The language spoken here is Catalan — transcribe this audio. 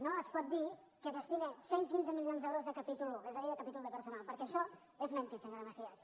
no es pot dir que destina cent i quinze milions d’euros de capítol i és a dir de capítol de personal perquè això és mentir senyora mejías